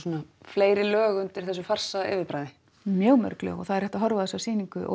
fleiri lög undir þessu farsa yfirbragði mjög mörg lög og það er hægt að horfa á þessa sýningu og